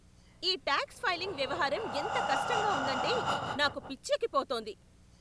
ఈ tax filing వ్యవహారం ఎంత కష్టంగా ఉందంటే, నాకు పిచ్చెక్కి పోతోంది!